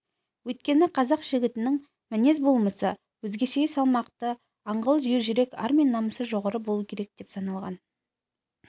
өйткені қазақ жігітінің мінез-болмысы өзгеше салмақты аңғал ержүрек ар мен намысы жоғары болуы керек деп саналған